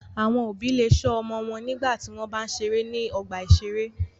Àwọn òbí le ṣọ́ àwọn ọmọ wọn nígbà tí wọ́n bá ń ṣeré ní ọgbà-ìṣeré.